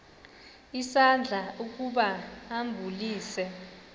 isandla ukuba ambulise